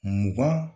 Mugan